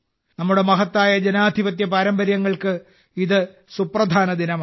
നമ്മുടെ മഹത്തായ ജനാധിപത്യ പാരമ്പര്യങ്ങൾക്ക് ഇത് സുപ്രധാന ദിനമാണ്